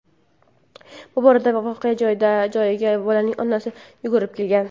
Bu orada voqea joyiga bolaning onasi yugurib kelgan.